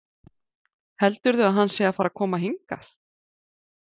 Heldurðu að hann sé að fara að koma hingað?